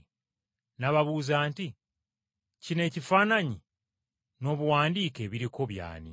N’ababuuza nti, “Kino ekifaananyi n’obuwandiike ebiriko by’ani?”